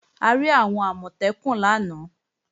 A rí àwọn Àmọ̀tẹ́kùn lánàá